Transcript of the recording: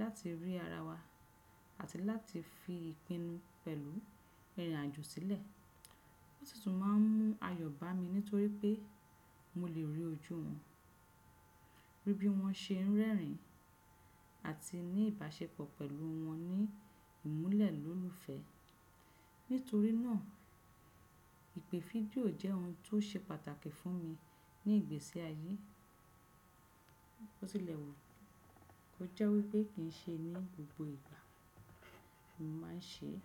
láti rí ara wa àti láti fi ìpinnu pẹ̀lú ìrìnàjò sílẹ̀. Ó sì tùn máà ń mú ayọ̀ bá mi nítorí pé mo lè rí ojú wọn, rí bí wọ́n ṣe ń rẹ́rìn àti ní ìbáṣepọ̀ pẹ̀lú wọn ní ìmúlẹ̀ lólufe. Nítorí náà ìpè fídíò jẹ́ ohun tó ṣe pàtàkì fún mi ní ìgbésí ayé. Bo tilẹ̀ wù kó jẹ́ wípé kì ń ṣe ní gbogbo ìgbà mo máa ń ṣe é.